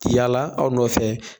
Yaala aw nɔ fɛ